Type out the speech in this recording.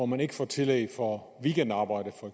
man ikke får tillæg for weekendarbejde